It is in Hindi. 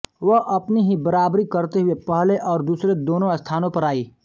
वह अपनी ही बराबरी करते हुए पहले और दूसरे दोनों स्थानों पर आई